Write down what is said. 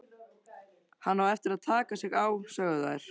Hann á eftir að taka sig á, sögðu þær.